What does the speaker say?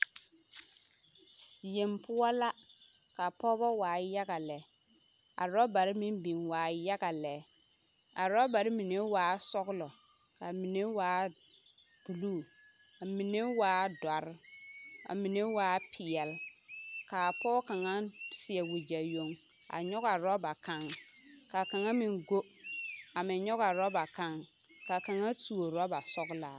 Yeŋ poɔ la ka pɔgebɔ waa yaga lɛ, a robare meŋ biŋ waa yaga lɛ a robare mine waa sɔgelɔ k'a mine waa buluu k'a mine waa dɔre ka mine waa peɛle k'a pɔge kaŋa seɛ wegyɛ yoŋ a nyɔge a roba kaŋ ka kaŋa meŋ go a meŋ nyɔge a roba kaŋ ka kaŋa tuo roba sɔgelaa.